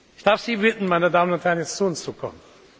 Ich darf Sie bitten, meine Damen und Herren, jetzt zu uns zu kommen.